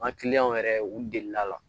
An ka kiliyanw yɛrɛ u delila